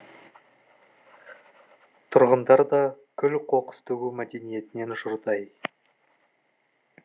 тұрғындар да күл қоқыс төгу мәдениетінен жұрдай